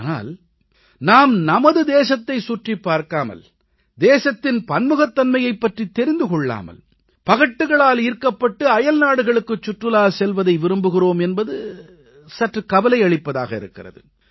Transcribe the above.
ஆனால் நாம் நமது தேசத்தைச் சுற்றிப் பார்க்காமல் தேசத்தின் பன்முகத்தன்மையைப் பற்றித் தெரிந்து கொள்ளாமல் பகட்டுகளால் ஈர்க்கப்பட்டு அயல்நாடுகளுக்குச் சுற்றுலா செல்வதை விரும்புகிறோம் என்பது சற்று கவலையளிப்பதாக இருக்கிறது